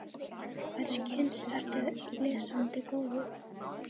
Hvers kyns ertu lesandi góður?